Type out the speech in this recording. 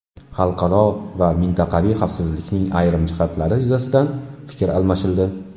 Xalqaro va mintaqaviy xavfsizlikning ayrim jihatlari yuzasidan fikr almashildi.